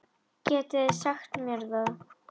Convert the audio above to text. Getið þið sagt mér það?